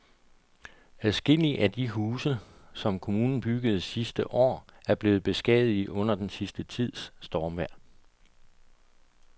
Adskillige af de huse, som kommunen byggede sidste år, er blevet beskadiget under den sidste tids stormvejr.